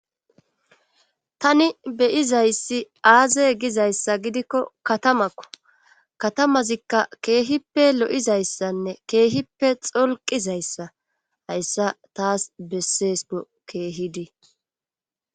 tani beyizayssi aaze gizayssa gidikko katamakko katamazikka keehippe lo7izayssanne keehippe xolqizayssa hayssa taas besseesko keehidi.